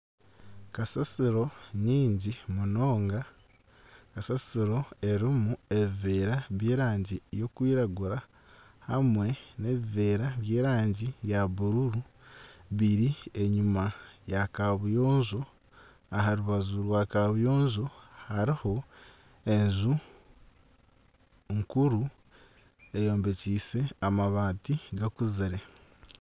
Kasasiro nyingi munonga, kasasiro erimu ebiveera by'erangi erikwiragura hamwe nana ebiveera by'erangi ya bururu biri enyuma ya kabuyonjo aha rubaju rwa kabuyonjo hariho enju nkuru eyombekiise amabaati gakuzire.